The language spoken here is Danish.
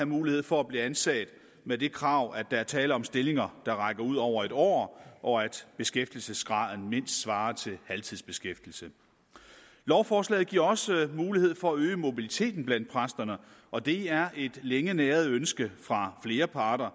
mulighed for at blive ansat med det krav at der er tale om stillinger der rækker ud over en år og at beskæftigelsesgraden mindst svarer til halvtidsbeskæftigelse lovforslaget giver også mulighed for at øge mobiliteten blandt præsterne og det er et længe næret ønske fra flere parters